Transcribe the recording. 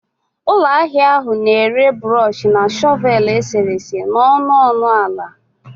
Ụlọ ahịa ahụ na-ere brush na shọvel eserese n'ọnụ ọnụ dị ala